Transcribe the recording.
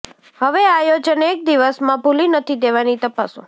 હવે આયોજન એક વિદેશમાં ભૂલી નથી દેવાની તપાસો